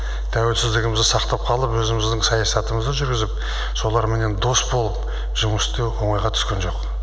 тәуелсіздігімізді сақтап қалып өзіміздің саясатымызды жүргізіп соларменен дос болып жұмыс істеу оңайға түскен жоқ